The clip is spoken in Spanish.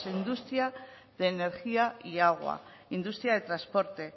industria de energía y agua industria de transporte